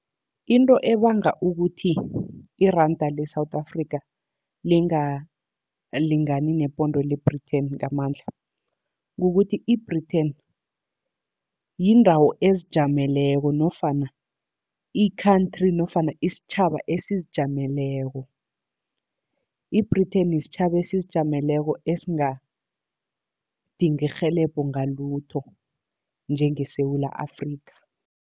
Into ebanga ukuthi iranda le-South Africa lingalingani nePonde le-Britain ngamandla, kukuthi i-Britain yindawo ezijameleko nofana i-country nofana isitjhaba esizijameleko. I-Britain sitjhaba esizijameleko esingadingi irhelebho ngalutho njengeSewula Afrika.